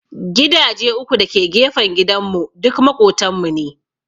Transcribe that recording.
Gidaje uku da ke gefen gidan mu duk maƙotan mu ne